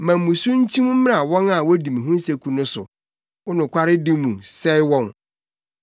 Ma mmusu nkyim mmra wɔn a wodi me ho nseku no so; wo nokwaredi mu, sɛe wɔn.